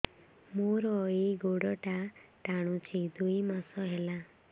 ମୋର ଏଇ ଗୋଡ଼ଟା ଟାଣୁଛି ଦୁଇ ମାସ ହେଲା